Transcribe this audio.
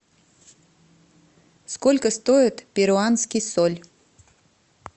сколько стоит перуанский соль